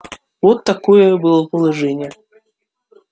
вот какое было положение